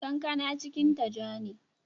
Kankana cikinta ja ne.